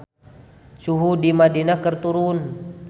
Suhu di Madinah keur turun